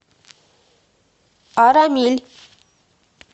арамиль